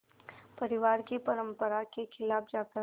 परिवार की परंपरा के ख़िलाफ़ जाकर